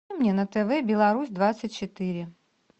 мне на тв беларусь двадцать четыре